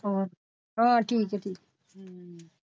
ਹਾਂ ਠੀਕ ਹੈ ਠੀਕ।